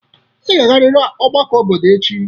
Ị ga-agarịrị ọgbakọ obodo echi!